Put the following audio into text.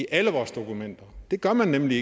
alle vores dokumenter det gør man nemlig